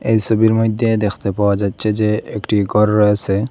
এই সবির মইধ্যে দেখতে পাওয়া যাচ্চে যে একটি গর রয়েসে।